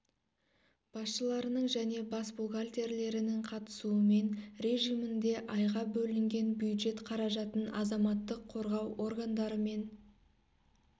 басшыларының және бас бухгалтерлерінің қатысуымен режимінде айға бөлінген бюджет қаражатын азаматтық қорғау органдары мен